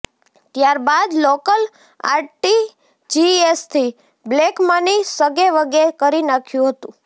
ત્યારબાદ લોકલ આરટીજીએસથી black money સગેવગે કરી નાખ્યુ હતું